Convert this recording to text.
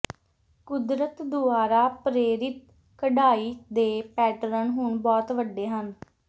ਕੁਦਰਤ ਦੁਆਰਾ ਪ੍ਰੇਰਿਤ ਕਢਾਈ ਦੇ ਪੈਟਰਨ ਹੁਣ ਬਹੁਤ ਵੱਡੇ ਹਨ